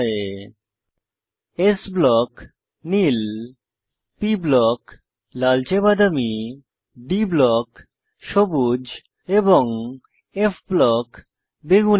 s block - নীল p block - লালচে বাদামী d ব্লক - সবুজ এবং f ব্লক - বেগুনী